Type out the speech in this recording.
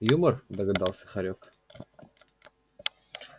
юмор догадался хорёк